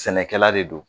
Sɛnɛkɛla de don